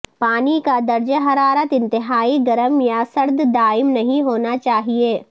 پانی کا درجہ حرارت انتہائی گرم یا سرد دائم نہیں ہونا چاہئے